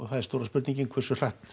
það er stóra spurningin hversu hratt